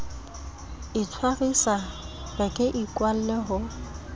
itshwarisa be ke ikwalle ho